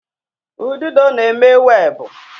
Ududo na-eme webụ.